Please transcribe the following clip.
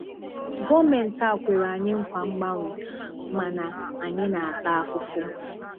Gọọmentị a kwere anyi nkwa mgbanwe, mana anyị na-ata afụfụ.